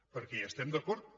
perquè hi estem d’acord